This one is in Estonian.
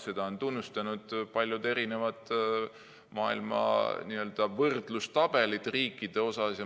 Seda on näidanud paljud võrdlustabelid maailma riikide kohta.